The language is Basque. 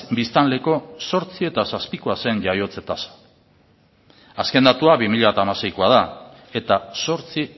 biztanleko zortzi koma zazpi zen jaiotze tasa azken datua bi mila hamaseikoa da eta zortzi